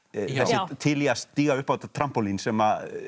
til í að stíga upp á þetta trampólín sem